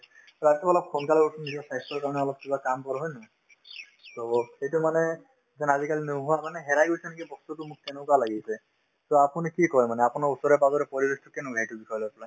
ৰাতিপুৱা অলপ সোনকালে উঠি নিজৰ স্বাস্থ্যৰ কাৰণে অলপ কিবা কাম কৰো হয় নে নহয় to সেইটো মানে যেন আজিকালি কাৰণে হেৰাই গৈছে নেকি বস্তুতো মোক তেনেকুৱা লাগিছে to আপুনি কি কই মানে আপোনাৰ ওচৰে-পাজৰে পৰিৱেশটো কেনেকুৱা এইটো বিষয় লৈ পেলায়